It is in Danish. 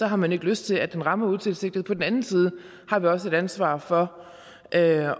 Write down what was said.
har man ikke lyst til at den rammer utilsigtet men på den anden side har vi også et ansvar for at